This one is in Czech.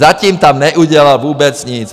Zatím tam neudělal vůbec nic!